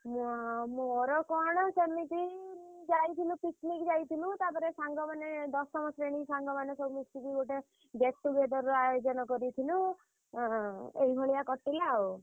ଏଁ ମୋର କଣ ସେମିତି ଯାଇଥିଲୁ picnic ଯାଇଥିଲୁ। ତାପରେ ସାଙ୍ଗମାନେ ଦଶମ ଶ୍ରେଣୀ ସାଙ୍ଗମାନେ ସବୁ ମିଶିକି ଗୋଟେ get-together ର ଆୟୋଜନ କରିଥିଲୁ। ଅଁ ଏଇଭଳିଆ କଟିଲା ଆଉ।